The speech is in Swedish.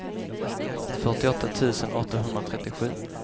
fyrtioåtta tusen åttahundratrettiosju